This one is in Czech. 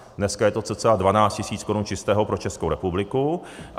Dneska je to cca 12 tisíc korun čistého pro Českou republiku.